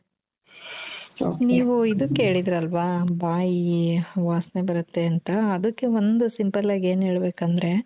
ನೀವು ಇದು ಕೇಳಿದ್ರಲ್ವಾ ಬಾಯಿ ವಾಸನೆ ಬರುತ್ತೆ ಅಂತ ಅದುಕ್ಕೆ ಒಂದು simple ಅಗ್ ಏನ್ ಹೇಳ್ಬೇಕಂದ್ರೆ